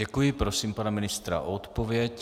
Děkuji, prosím pana ministra o odpověď.